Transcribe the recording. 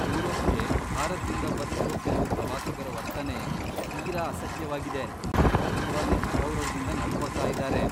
ಯುರೋಪ್ಗೆ ಭಾರತ್ದಿಂದ ಬರ್ತಿರೋ ಕೆಲ್ವು ಪ್ರವಾಸಿಗ್ರ ವರ್ತನೆ ತೀರಾ ಅಸಹ್ಯವಾಗಿದೆ, ತುಂಬಾನೇ ಅಗೌರವ್ದಿಂದ ನಡ್ಕೊತಾ ಇದಾರೆ.